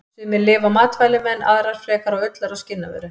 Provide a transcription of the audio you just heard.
Sumar lifa á matvælum en aðrar frekar á ullar- og skinnavöru.